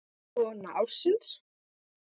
Kona ársins?